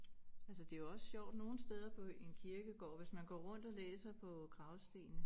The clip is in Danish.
Altså det jo også sjovt nogle steder på en kirkegård hvis man går rundt og læser på gravstenene